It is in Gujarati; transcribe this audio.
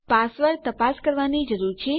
પાસવર્ડ તપાસ કરવાની જરૂર છે